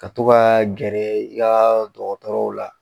Ka to kaa gɛrɛ i kaa dɔgɔtɔrɔw la